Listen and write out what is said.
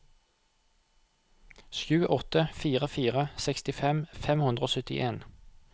sju åtte fire fire sekstifem fem hundre og syttien